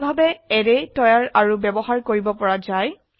এইভাবে অ্যাৰে তৈয়াৰ আৰু ব্যবহাৰ কৰিব পৰা যায়